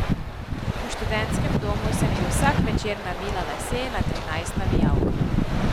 V študentskem domu sem ji vsak večer navila lase na trinajst navijalk.